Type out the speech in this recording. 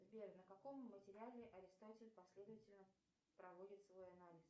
сбер на каком материале аристотель последовательно проводит свой анализ